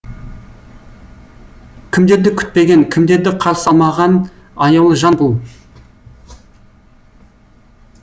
кімдерді күтпеген кімдерді қарсы алмаған аяулы жан бұл